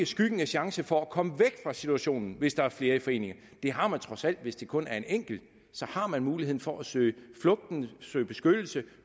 skyggen af chance for at komme væk fra situationen hvis der er flere i forening det har man trods alt hvis der kun er en enkelt så har man muligheden for at søge flugt søge beskyttelse og